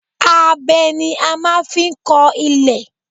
Abẹ ni a máa ń fi kọ ilẹ̀